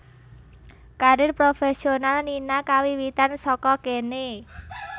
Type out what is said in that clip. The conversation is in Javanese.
Karir profésional Nina kawiwitan saka kéné